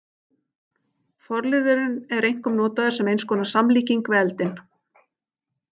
Forliðurinn er einkum notaður sem eins konar samlíking við eldinn.